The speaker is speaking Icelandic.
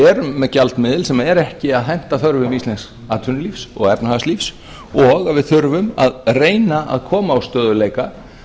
erum með gjaldmiðil sem er ekki að henta þörfum íslensks atvinnulífs og efnahagslífs og að við þurfum að reyna að koma á stöðugleika